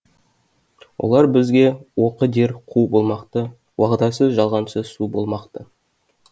олар бізге оқы дер қу болмақты уағдасыз жалғаншы су болмақты